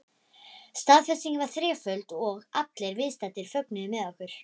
Staðfestingin var þreföld og allir viðstaddir fögnuðu með okkur.